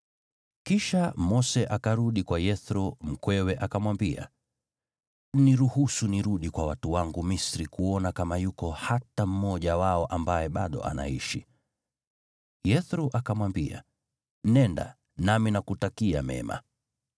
Kisha Mose akarudi kwa Yethro mkwewe akamwambia, “Niruhusu nirudi kwa watu wangu Misri kuona kama yuko hata mmoja wao ambaye bado anaishi.” Yethro akamwambia, “Nenda, nami nakutakia mema.”